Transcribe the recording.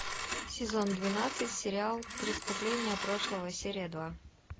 сезон двенадцать сериал преступления прошлого серия два